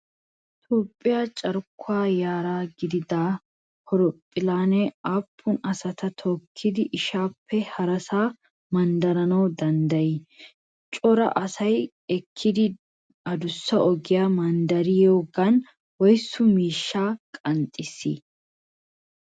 Toophphiya carkkuwa yara giidida horoophphillee aappun asaa tookkidi issisaappe harasaa manddarana danddayii? Coral Asia ekkidi adussa ogiya manddariyogan woysu miishshaa qanxxissii?